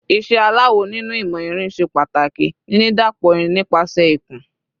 Iṣẹ́ aláwọ̀ nínú ìmọ̀ irin ṣe pàtàkì ní dídàpọ̀ irìn nípasẹ̀ ìkùn.